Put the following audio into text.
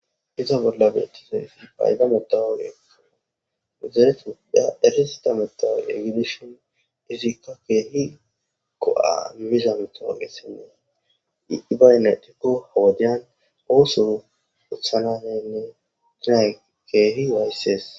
Hezza bolla betizzay id mattoqqiyya giddishinizzi kehi go77a imizzayssakko izzi baynna ixxikko ha77i oso othanyssi keehi wayisses.